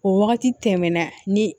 O wagati tɛmɛn na ni